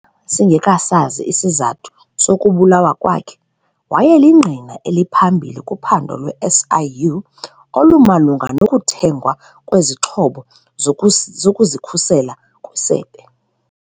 Singekasazi isizathu sokubulawa kwakhe, wayelingqina eliphambili kuphando lwe-SIU olumalunga nokuthengwa kwezixhobo zokuzikhusela kwisebe.